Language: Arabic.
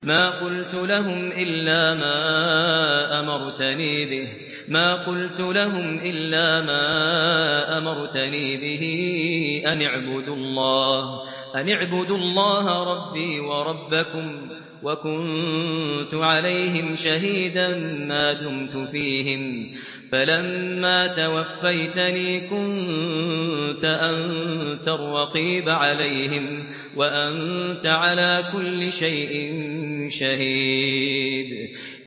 مَا قُلْتُ لَهُمْ إِلَّا مَا أَمَرْتَنِي بِهِ أَنِ اعْبُدُوا اللَّهَ رَبِّي وَرَبَّكُمْ ۚ وَكُنتُ عَلَيْهِمْ شَهِيدًا مَّا دُمْتُ فِيهِمْ ۖ فَلَمَّا تَوَفَّيْتَنِي كُنتَ أَنتَ الرَّقِيبَ عَلَيْهِمْ ۚ وَأَنتَ عَلَىٰ كُلِّ شَيْءٍ شَهِيدٌ